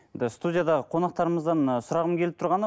студиядағы қонақтарымыздан ы сұрағым келіп тұрғаны